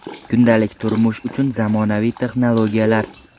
Kundalik turmush uchun zamonaviy texnologiyalar.